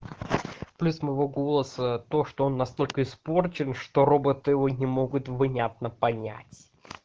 плюс моего голоса то что он настолько испорчен что робот его не могут внятно понять